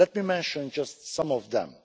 Let me mention just some them.